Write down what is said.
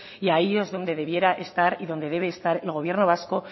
y ahí es donde debiera estar y donde debe estar el gobierno vasco